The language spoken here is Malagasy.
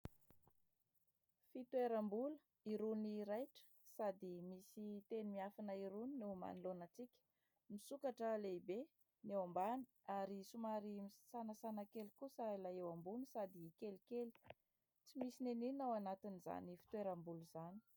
fitoeram-bola iroany raitra sady misy teny miafina irony neo manoloanantsika misokatra lehibe ny eo ambany ary somarysanasana kely kosa ilay eo ambony sady kely kely tsy misy nenina ao anatiny'izany fitoeram-bola izany